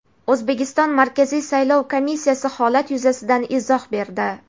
O‘zbekiston Markaziy saylov komissiyasi holat yuzasidan izoh berdi.